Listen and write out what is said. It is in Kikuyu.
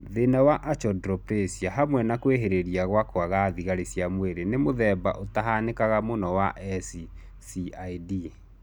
Thĩna wa Achondroplasia hamwe na kwĩhĩrĩria gwa kwaga thigari cia mwĩrĩ nĩ mũthemba ũtahanĩkaga mũno wa SCID